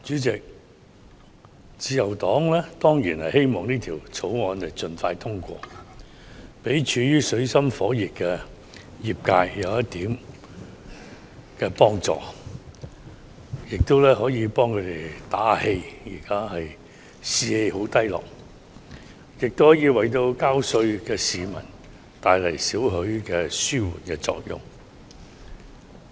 主席，自由黨當然希望《2019年稅務條例草案》盡快通過，給處於水深火熱的業界一點幫助，為他們打氣，因為現時業界士氣低落，亦可為繳稅的市民帶來少許紓緩作用。